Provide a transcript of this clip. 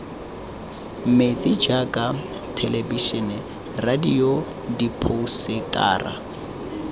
mentsi jaaka thelebisene radio diphousetara